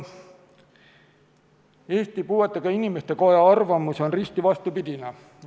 Eesti Puuetega Inimeste Koja arvamus on risti vastupidine.